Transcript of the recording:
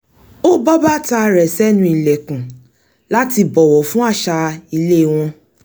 ó bọ́ bàtà rẹ̀ sẹ́nu ìlẹ̀kùn láti bọ̀wọ̀ fún àṣà ilé wọn